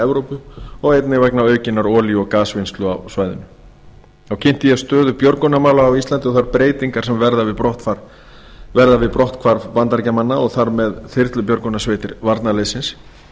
evrópu og einnig vegna aukinnar olíu og gasvinnslu á svæðinu þá kynnti ég stöðu björgunarmála á íslandi og þær breytingar sem verða við brotthvarf bandaríkjamanna og þar með þyrlubjörgunarsveitar varnarliðsins